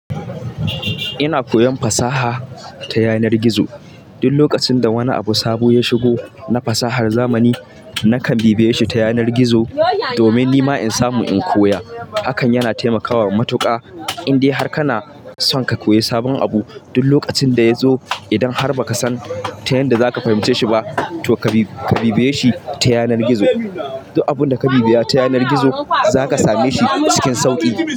Ina koyan fasaha ta yanar gizo. Duk lokacin da wani abu sabo ya shigo na fasahar zamani, nakan bibiye shi ta yanar gizo domin ni ma in samu in koya. Hakan yana taimakawa matuƙa, indai har kana son ka koyi sabon abu. Duk lokacin da ya zo, idan har ba ka san ta yanda za ka fahimce shi ba, to ka bibiye shi ta yanar gizo. Duk abunda ka bibiya ta yanar gizo za ka same shi cikin sauƙi.